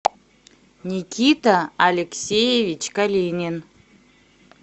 никита алексеевич калинин